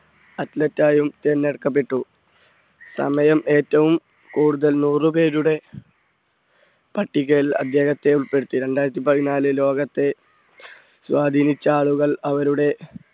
athlete തെരഞ്ഞെടുക്കപ്പെട്ടു സമയം ഏറ്റവും കൂടുതൽ നൂറ് പേരുടെ പട്ടികയിൽ അദ്ദേഹത്തെ ഉൾപ്പെടുത്തി രണ്ടായിരത്തി പതിനാല് ലോകത്തെ സ്വാധീനിച്ച ആളുകൾ അവരുടെ